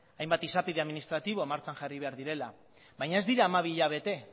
hainbat esapide administratiboa martxan jarri behar direla baina ez dira hamabi hilabete